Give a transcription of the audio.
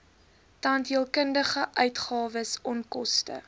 tandheelkundige uitgawes onkoste